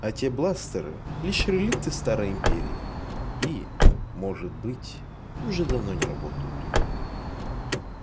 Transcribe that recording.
а те бластеры лишь реликты старой империи и может быть уже давно не работают